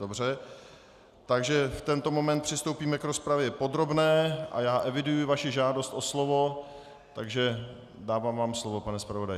Dobře, takže v tento moment přistoupíme k rozpravě podrobné a já eviduji vaši žádost o slovo, takže vám dávám slovo, pane zpravodaji.